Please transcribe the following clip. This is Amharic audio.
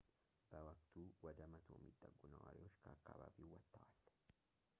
በወቅቱ ወደ 100 የሚጠጉ ነዋሪዎች ከአከባቢው ወጥተዋል